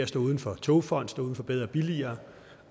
står uden for togfonden for bedre og billigere